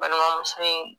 Balimamuso in